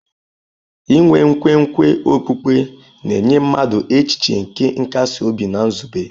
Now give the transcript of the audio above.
Inwe nkwenkwe okpukpe na-enye mmadụ echiche nke nkasi obi na nzube.